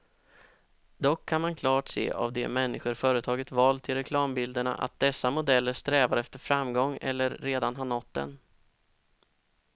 Dock kan man klart se av de människor företaget valt till reklambilderna, att dessa modeller strävar efter framgång eller redan har nått den.